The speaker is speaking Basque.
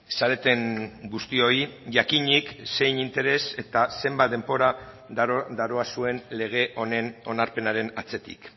zareten guztioi jakinik zein interes eta zenbat denbora daroazuen lege honen onarpenaren atzetik